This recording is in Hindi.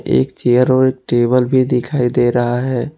एक चेयर और एक टेबल भी दिखाई दे रहा है।